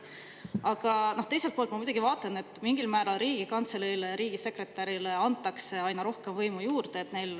Aga teiselt poolt ma muidugi vaatan, et mingil määral antakse Riigikantseleile ja riigisekretärile aina rohkem võimu juurde.